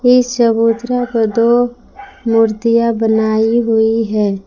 इस चबूतरा पर दो मूर्तियां बनाई हुई है।